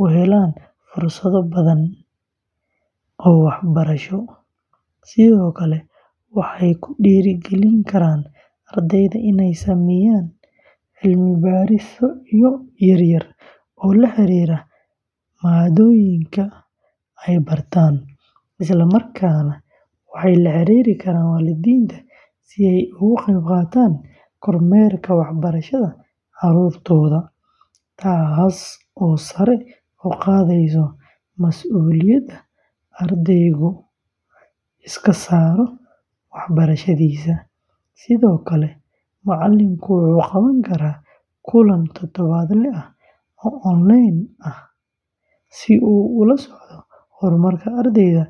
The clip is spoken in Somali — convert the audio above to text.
u helaan fursado badan oo waxbarasho, sidoo kale waxay ku dhiirrigelin karaan ardayda inay sameeyaan cilmi-baarisyo yar-yar oo la xiriira maadooyinka ay bartaan, isla markaana waxay la xiriiri karaan waalidiinta si ay uga qeybqaataan kormeerka waxbarashada carruurtooda, taasoo sare u qaadaysa masuuliyadda ardaygu iska saaro waxbarashadiisa, sidoo kale, macallinku wuxuu qaban karaa kulan toddobaadle ah oo onlayn ah si uu ula socdo horumarka ardayda.